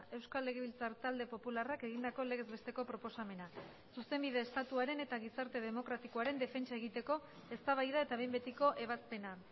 euskal legebiltzar talde popularrak egindako legez besteko proposamena zuzenbide estatuaren eta gizarte demokratikoaren defentsa egiteko eztabaida eta behin betiko ebazpena